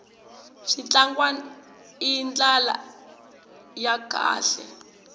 switlangwana i ndlala ya kahle